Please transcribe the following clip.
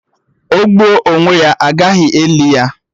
O gbuo onwe ya, agaghị eli ya